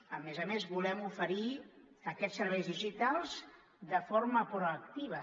a més a més volem oferir aquests serveis digitals de forma proactiva